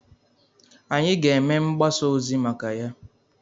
Anyị ga-eme mgbasa ozi maka ya.